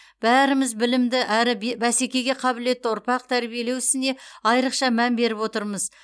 бәріміз білімді әрі бе бәсекеге қабілетті ұрпақ тәрбиелеу ісіне айрықша мән беріп отырмыз